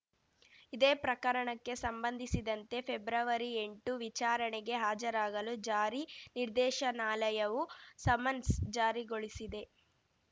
ಇದೇ ಪ್ರಕರಣಕ್ಕೆ ಸಂಬಂಧಿಸಿದಂತೆ ಫೆಬ್ರವರಿಎಂಟು ವಿಚಾರಣೆಗೆ ಹಾಜರಾಗಲು ಜಾರಿ ನಿರ್ದೇಶನಾಲಯವು ಸಮನ್ಸ್‌ ಜಾರಿಗೊಳಿಸಿದೆ